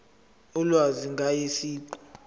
ulwazi ngaye siqu